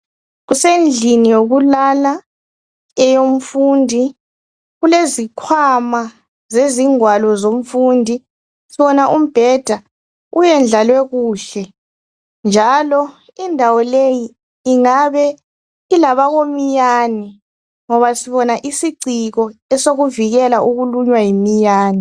Kusendlini yokulala eyomfundi kulezikhwama zezingwalo zomfundi sibona umbheda uyedlalwe kuhle njalo indawo leyi ingabe ileminyane ngoba sibona isiciko sokuzivikela ukulunywa yiminyane